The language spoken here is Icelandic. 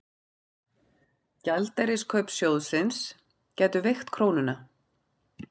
Gjaldeyriskaup sjóðsins gætu veikt krónuna